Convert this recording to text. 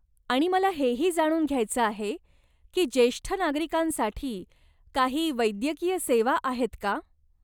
आणि मला हेही जाणून घ्यायचं आहे की जेष्ठ नागरिकांसाठी काही वैद्यकीय सेवा आहेत का?